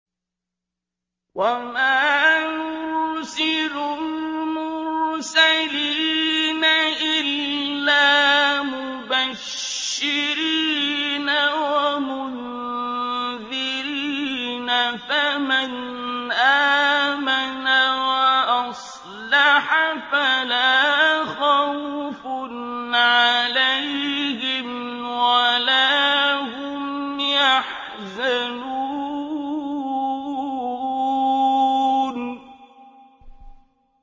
وَمَا نُرْسِلُ الْمُرْسَلِينَ إِلَّا مُبَشِّرِينَ وَمُنذِرِينَ ۖ فَمَنْ آمَنَ وَأَصْلَحَ فَلَا خَوْفٌ عَلَيْهِمْ وَلَا هُمْ يَحْزَنُونَ